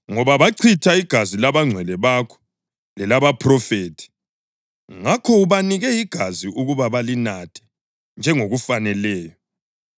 ngoba bachitha igazi labangcwele bakho lelabaphrofethi, ngakho ubanike igazi ukuba balinathe njengokubafaneleyo.”